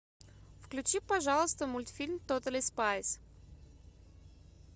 включи пожалуйста мультфильм тотали спайс